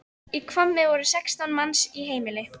Í Hvammi voru sextán manns í heimili.